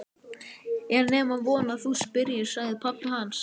Meginreglan er sú að stjórn félagsins er í höndum félagsstjórnarinnar.